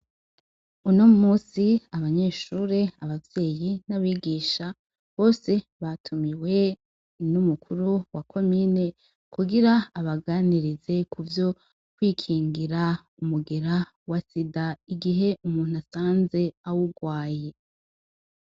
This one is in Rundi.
Uno musi abanyeshure abavyeyi n'abigisha bose batumiwe n'umukuru wa komine kugira abaganirize ku vyo kwikingira umugera wa sida igihe umuntu asanze awugwaye.